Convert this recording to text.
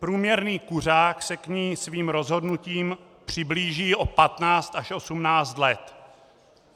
Průměrný kuřák se k ní svým rozhodnutím přiblíží o 15 až 18 let.